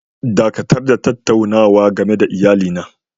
Dakatar da tattaunawa game da iyalina!!